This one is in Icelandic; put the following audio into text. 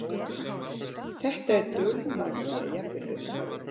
Þetta er dulmagnað, jafnvel upphafið.